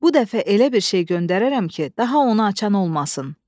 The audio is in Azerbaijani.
Bu dəfə elə bir şey göndərərəm ki, daha onu açan olmasın.